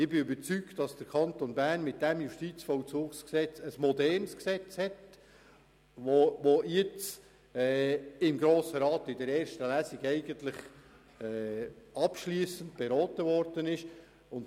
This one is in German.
Ich bin überzeugt, dass der Kanton Bern mit diesem JVG ein modernes Gesetz hat, welches vom Grossen Rat in erster Lesung grundsätzlich abschliessend beraten werden konnte.